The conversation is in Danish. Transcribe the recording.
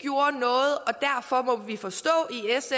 vi forstå